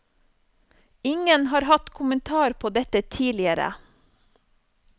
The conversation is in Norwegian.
Ingen har hatt kommentar på dette tidligere.